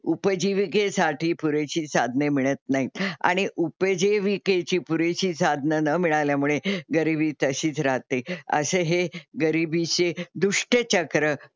उपजीविकेसाठी पुरेशी साधने मिळत नाहीत आणि उपजीविकेची पुरेशी साधनं न मिळाल्यामुळे गरीबी तशीच राहते असे हे गरिबीचे दुष्टचक्र,